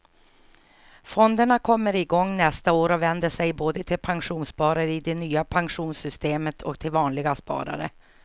Fonderna kommer igång nästa år och vänder sig både till pensionssparare i det nya pensionssystemet och till vanliga sparare.